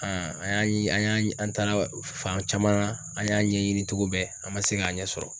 an y'an an y'an an taa fan caman an y'a ɲɛɲini cogo bɛɛ an ma se k'a ɲɛ sɔrɔ.